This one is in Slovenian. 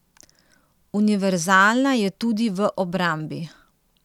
Univerzalna je tudi v obrambi.